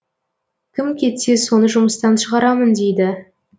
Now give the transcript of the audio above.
кім кетсе соны жұмыстан шығарамын дейді